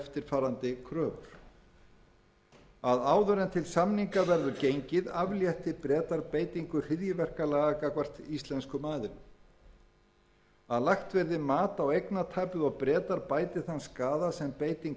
áður en til samninga verður gengið aflétti bretar beitingu hryðjuverkalaga gagnvart íslenskum aðilum b lagt verði mat á eignatapið og bretar bæti þann skaða sem beiting